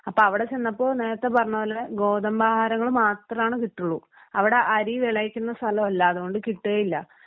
അപ്പോ അവിടെ ചെന്നപ്പോൾ നേരത്തെ പറഞ്ഞ പോലെ ഗോതമ്പ് ആഹാരങ്ങൾ മാത്രമാണ് കിട്ടുള്ളൂ അവിടെ അരി വിളയിക്കുന്ന സ്ഥലമല്ല അതുകൊണ്ട് കിട്ടുവേയില്ല.